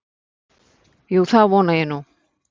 Jú, það vona ég nú.